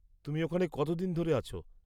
তুমি ওখানে কতদিন ধরে আছ?